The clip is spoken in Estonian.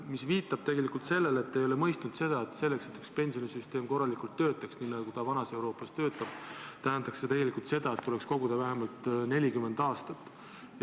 See viitab tegelikult sellele, et te ei ole mõistnud, et selleks, et üks pensionisüsteem korralikult töötaks, nii nagu ta vanas Euroopas töötab, tuleks koguda vähemalt 40 aastat.